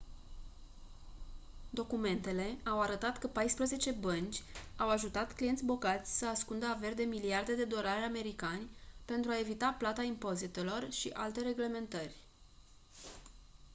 documentele au arătat că paisprezece bănci au ajutat clienți bogați să ascundă averi de miliarde de dolari americani pentru a evita plata impozitelor și alte reglementări